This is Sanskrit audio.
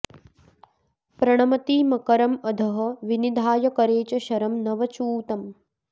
प्रणमति मकरम् अधः विनिधाय करे च शरम् नव चूतम्